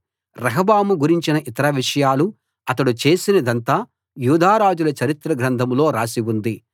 రెహబాము గురించిన ఇతర విషయాలు అతడు చేసినదంతా యూదారాజుల చరిత్ర గ్రంథంలో రాసి వుంది